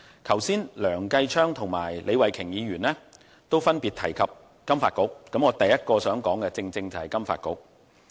剛才梁繼昌議員和李慧琼議員分別提及香港金融發展局，而我第一點想說的正是金發局。